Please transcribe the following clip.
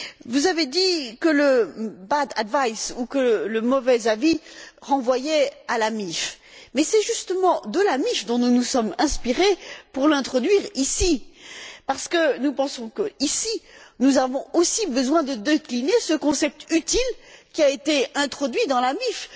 Vous avez dit que le bad advice ou mauvais avis renvoyait à la MiFID mais c'est justement de la MiFID dont nous nous sommes inspirés pour l'introduire ici parce que nous pensons qu'ici, nous avons aussi besoin de décliner ce concept utile qui a été introduit dans la MiFID.